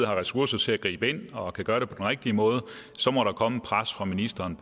har ressourcer til at gribe ind og kan gøre det på den rigtige måde så må der komme et pres fra ministeren